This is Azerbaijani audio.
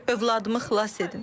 Övladımı xilas edin.